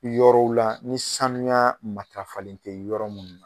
Yɔrɔw la ni sanuya matarafalen tɛ yɔrɔ munnu na